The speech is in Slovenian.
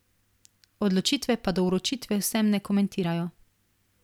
Odločitve pa do vročitve vsem ne komentirajo.